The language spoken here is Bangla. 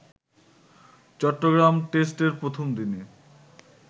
চট্টগ্রাম টেস্টের প্রথম দিনে